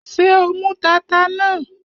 Ṣé o mú tata náà?